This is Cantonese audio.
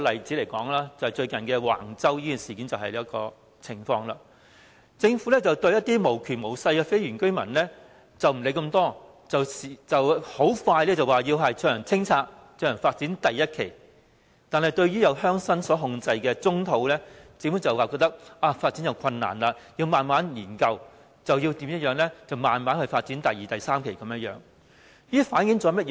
以最近的橫洲發展為例，對一些無權無勢的非原居民，政府不予理會，說清拆他們的房屋便清拆，發展第一期，但對鄉紳控制的棕地，政府便說發展有困難，要慢慢研究、慢慢發展第二期和第三期，這反映出甚麼？